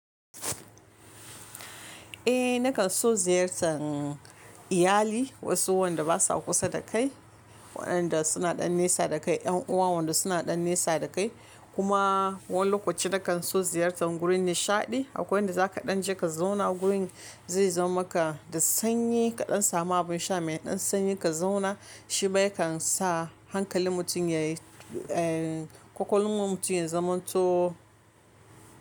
Eh nakan so ziyartan iyali wasu wanda basa kusa dakai waƴanda suna ɗan naisa dakai ƴan uwa suna dan naisa dakai. Kuma wani lokaci nakan so ziyartar gurin nishaɗi, akwai inda za ka ɗan je ka zauna gurin zai zaman maka da sanyi kaɗan sama abin sha mai ɗan sanyi ka zauna shi ma yakan sa hankalin mutum yayi, eh kwakwalwar mutum ya zamanto.